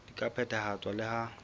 di ka phethahatswa le ha